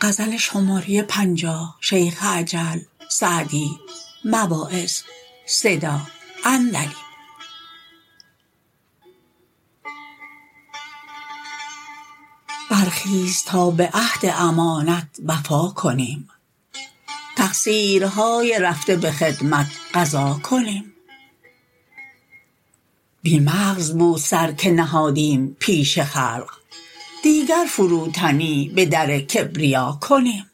برخیز تا به عهد امانت وفا کنیم تقصیرهای رفته به خدمت قضا کنیم بی مغز بود سر که نهادیم پیش خلق دیگر فروتنی به در کبریا کنیم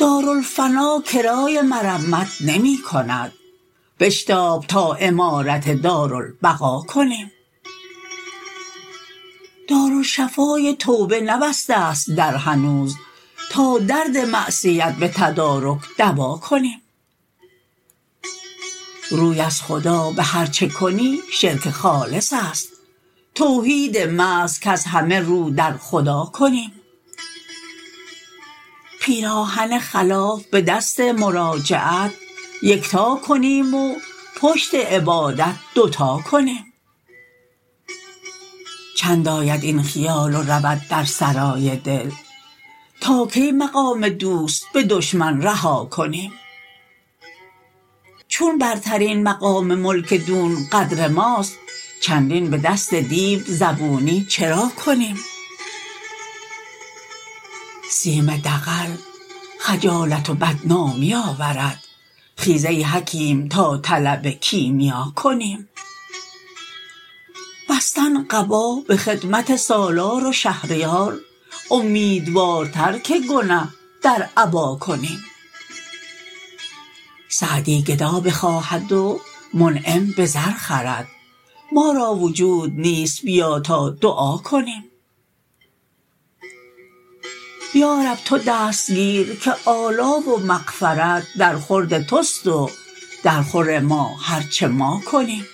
دارالفنا کرای مرمت نمی کند بشتاب تا عمارت دارالبقا کنیم دارالشفای توبه نبسته ست در هنوز تا درد معصیت به تدارک دوا کنیم روی از خدا به هر چه کنی شرک خالص است توحید محض کز همه رو در خدا کنیم پیراهن خلاف به دست مراجعت یکتا کنیم و پشت عبادت دو تا کنیم چند آید این خیال و رود در سرای دل تا کی مقام دوست به دشمن رها کنیم چون برترین مقام ملک دون قدر ماست چندین به دست دیو زبونی چرا کنیم سیم دغل خجالت و بدنامی آورد خیز ای حکیم تا طلب کیمیا کنیم بستن قبا به خدمت سالار و شهریار امیدوارتر که گنه در عبا کنیم سعدی گدا بخواهد و منعم به زر خرد ما را وجود نیست بیا تا دعا کنیم یارب تو دست گیر که آلا و مغفرت در خورد توست و در خور ما هر چه ما کنیم